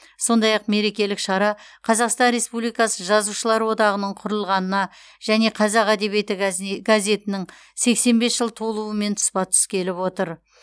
сондай ақ мерекелік шара қазақстан республикасы жазушылар одағының құрылғанына және қазақ әдебиеті газе газетінің сексен бес жыл толуымен тұспа тұс келіп отыр